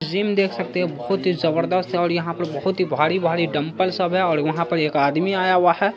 Gym देख सकते हो बहुत ही जबरदस्त यहाँ पर बहुत ही भारी-भारी डम्बेल्स है और वहाँ पर एक आदमी आया हुआ है।